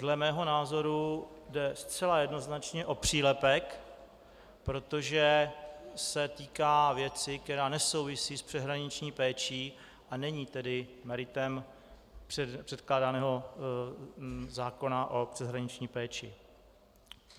Dle mého názoru jde zcela jednoznačně o přílepek, protože se týká věci, která nesouvisí s přeshraniční péčí, a není tedy meritem předkládaného zákona o přeshraniční péči.